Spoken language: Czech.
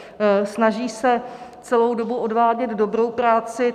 Snaží se celou dobu odvádět dobrou práci.